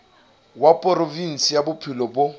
wa provinse ya bophelo bo